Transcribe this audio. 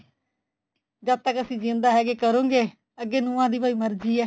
ਜਦ ਤੱਕ ਅਸੀਂ ਜਿਉਂਦਾ ਹੈਗੇ ਕਰੋਂਗੇ ਅੱਗੇ ਨੂੰਹਾ ਦੀ ਭਾਈ ਮਰਜੀ ਏ